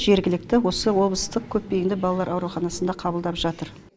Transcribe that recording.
жергілікті осы облыстық көпбейінді балалар ауруханасында қабылдап жатыр